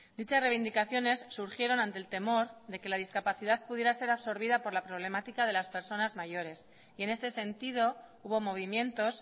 dichas reivindicaciones surgieron ante el temor de que la discapacidad pudiera ser absorbida por la problemática de las personas mayores y en este sentido hubo movimientos